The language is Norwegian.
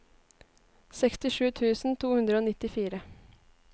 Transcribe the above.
sekstisju tusen to hundre og nittifire